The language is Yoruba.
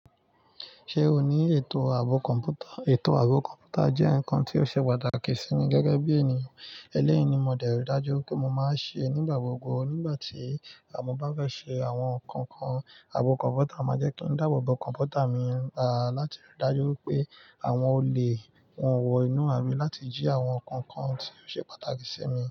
Ṣé o ní ètò ààbò kọ̀ǹpútà? Ètò ààbò kọ̀ǹpútà jẹ́ nǹkan tí ó ṣe pàtàkì sí mi gẹ́gẹ́ bí ènìyàn. Eléyìí ni mo dẹ̀rí dájú pé mo máa ṣe nígbà gbogbo nígbà tí mo bá fẹ́ ṣe àwọn nǹkan kan. Ààbò kọ̀ǹpútà máa jẹ́ kí n dáàbò bo kọ̀ǹpútà mi, à láti rí dájú pé àwọn olè wọ́n wọ inú a mi láti jí àwọn nǹkan kan tí ó ṣe pàtàkì sí mi.